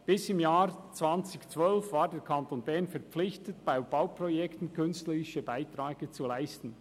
Bis im Jahr 2012 war der Kanton Bern verpflichtet, bei Bauprojekten künstlerische Beiträge zu leisten.